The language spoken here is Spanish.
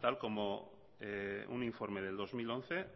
tal como un informe del dos mil once